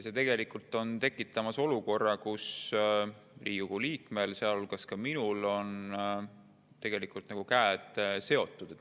See on tekitamas olukorda, kus Riigikogu liikmetel, sealhulgas minul, on käed seotud.